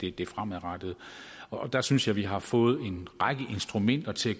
er det fremadrettede og der synes jeg at vi har fået en række instrumenter til at